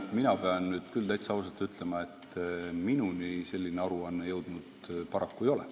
Mina pean küll täitsa ausalt ütlema, et minuni selline aruanne paraku jõudnud ei ole.